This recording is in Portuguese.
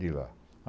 De lá.